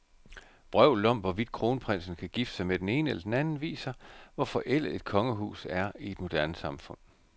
Vrøvlet om, hvorvidt kronprinsen kan gifte sig med den ene eller den anden, viser, hvor forældet et kongehus er i et moderne samfund.